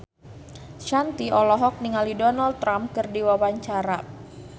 Shanti olohok ningali Donald Trump keur diwawancara